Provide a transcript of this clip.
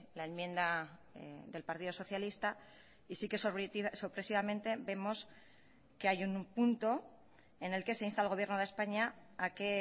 la enmienda del partido socialista y sí que sorpresivamente vemos que hay un punto en el que se insta al gobierno de españa a que